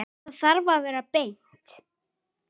Það þarf að vera beint.